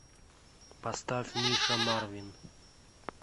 поставь миша марвин